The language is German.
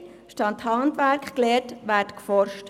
Statt Handwerk zu lehren, werde geforscht.